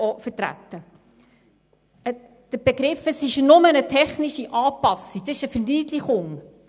Die Formulierung, es sei nur eine technische Anpassung, ist eine Verniedlichung.